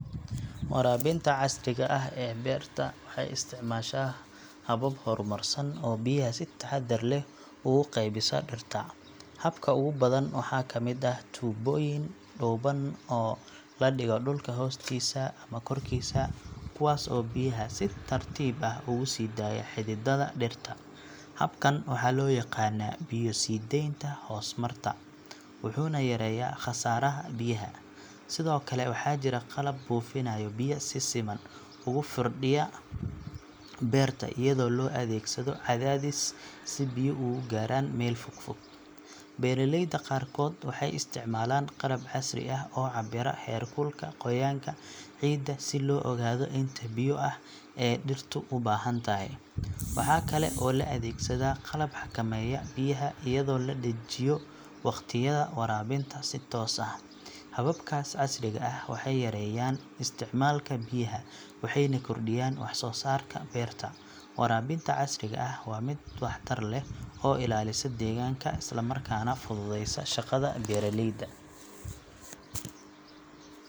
Waraabinta casriga ah ee beerta waxay isticmaashaa habab horumarsan oo biyaha si taxaddar leh ugu qaybisa dhirta. Habka ugu badan waxaa ka mid ah tuubooyin dhuuban oo la dhigo dhulka hoostiisa ama korkiisa kuwaas oo biyaha si tartiib ah ugu sii daaya xididada dhirta. Habkan waxaa loo yaqaannaa biyo-sii-daaynta hoos-marta wuxuuna yareeyaa khasaaraha biyaha. Sidoo kale waxaa jira qalab buufinaya biyo si siman ugu firdhiya beerta iyadoo loo adeegsado cadaadis si biyo ugu gaaraan meel fog fog. Beeraleyda qaarkood waxay isticmaalaan qalab casri ah oo cabbira heerka qoyaanka ciidda si loo ogaado inta biyo ah ee dhirtu u baahan tahay. Waxa kale oo la adeegsadaa qalab xakameeya biyaha iyadoo la dejiyo waqtiyada waraabinta si toos ah. Hababkaas casriga ah waxay yareeyaan isticmaalka biyaha waxayna kordhiyaan wax soo saarka beerta. Waraabinta casriga ah waa mid waxtar leh oo ilaalisa deegaanka isla markaana fududeysa shaqada beeraleyda.